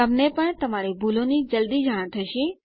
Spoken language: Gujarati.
તમને પણ તમારી ભૂલોની જલ્દી જાણ થશે